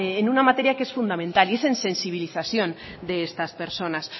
en una materia que es fundamental y es en sensibilización de estas personas